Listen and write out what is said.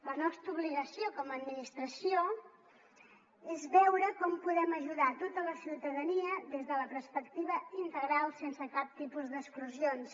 la nostra obligació com a administració és veure com podem ajudar a tota la ciutadania des de la perspectiva integral sense cap tipus d’exclusions